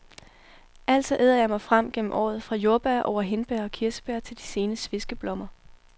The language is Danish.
Altså æder jeg mig frem gennem året, fra jordbær over hindbær og kirsebær til de sene sveskeblommer.